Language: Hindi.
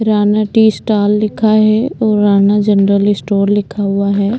राणा टी स्टाल लिखा है और राणा जनरल इस्टोर लिखा हुआ है।